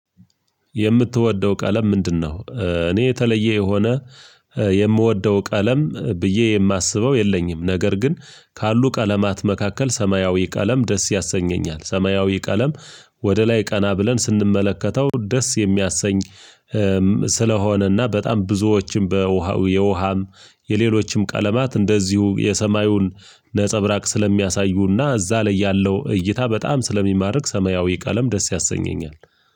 የምትወደው ቀለም ምንድነው? እኔ የተለየ የሆነ የምወደው ቀለም ብዬ የማስበው የለኝም ነገር ግን ካሉ ቀለማት መካከል ሰማያዊ ቀለም ደስ ያሰኘኛል ሰማያዊ ቀለም ወደ ላይ ቀና ብለን ስንመለከተው ደስ የሚያሰኝ ስለሆነና በጣም ብዙዎችም በውሃው የውሃም የሌሎችም ቀለማት እንደዚሁ የሰማዩን ነፀብራቅ ስለሚያሳዩና እዛ ላይ ያለው እይታ በጣም ስለሚማርክ ሰማያዊ ቀለም ደስ ያሰኘኛል።